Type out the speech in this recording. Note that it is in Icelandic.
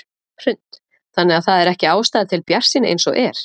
Hrund: Þannig að það er ekki ástæða til bjartsýni eins og er?